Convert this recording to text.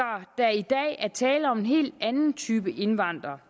der i dag er tale om en helt anden type indvandrere